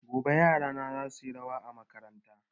Gobe yarana za su yi rawa a makaranta